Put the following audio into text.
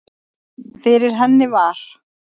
Fyrir henni var